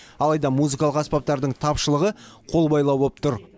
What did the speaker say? алайда музыкалық аспаптардың тапшылығы қолбайлау боп тұр